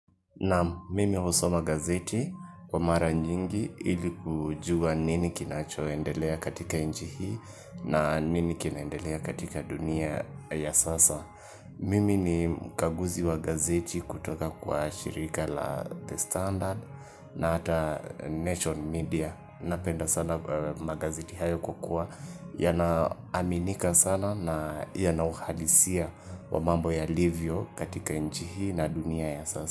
Naam mimi husoma gazeti, kwa mara nyingi ili kujua nini kinachoendelea katika nchi na nini kinaendelea katika dunia ya sasa. Mimi ni mkaguzi wa gazeti kutoka kwa shirika la The Standard na hata Nation Media. Napenda sana magazeti hayo kukua yanaaminika sana na yanauhalisia wa mambo yalivyo katika nchi na dunia ya sasa.